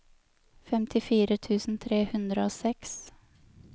femtifire tusen tre hundre og seks